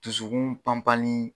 Dususkun pan panni